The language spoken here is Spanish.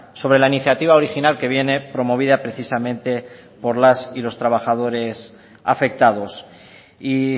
sobre la iniciativa original que viene promovida precisamente por las y los trabajadores afectados y